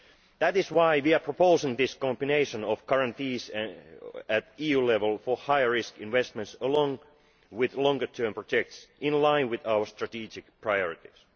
That is why we are proposing this combination of guarantees at EU level for higher risk investments, along with longer term projects in line with our strategic priorities.